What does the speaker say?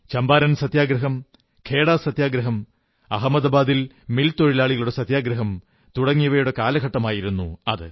ചമ്പാരൻ സത്യഗ്രഹം ഖേഡാ സത്യഗ്രഹം അഹമദാബാദിൽ മിൽത്തൊഴിലാളികളുടെ സത്യഗ്രഹം തുടങ്ങിയവയുടെ കാലഘട്ടമായിരുന്നു അത്